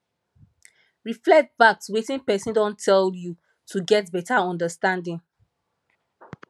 reflect back to wetin person don tell you to get better understanding